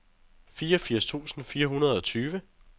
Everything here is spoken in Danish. fireogfirs tusind fire hundrede og tyve